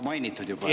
Tingimata!